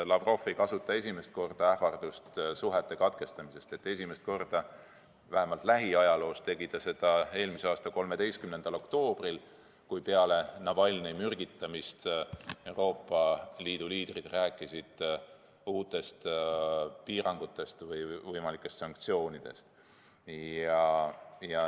Lavrov ei kasuta esimest korda suhete katkestamise ähvardust, esimest korda – vähemalt lähiajaloos – tegi ta seda eelmise aasta 13. oktoobril, kui peale Navalnõi mürgitamist rääkisid Euroopa Liidu liidrid uutest piirangutest ja võimalikest sanktsioonidest.